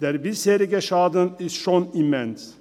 Der bisherige Schaden ist schon immens.